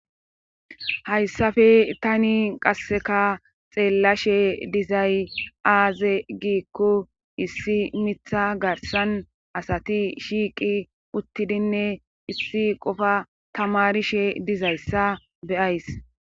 hayssafe tani qasseka xeellashe dizay aaze giikko issi mitha garsan asati shiiqi uttidinne issi qofa tamarishe dizayssa beyays